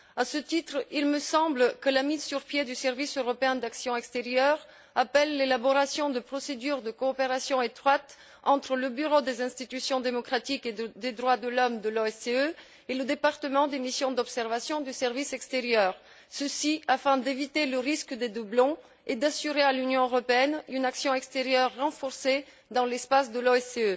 À ce titre, il me semble que la mise sur pied du service européen d'action extérieure appelle l'élaboration de procédures de coopération étroites entre le Bureau des institutions démocratiques et des droits de l'homme de l'OSCE et le département des missions d'observation du service extérieur, ceci afin d'éviter le risque de doublons et d'assurer à l'Union européenne une action extérieure renforcée dans l'espace de l'OSCE.